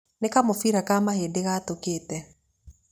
Nĩ kamũbira ka mahĩndĩ gatũkĩte.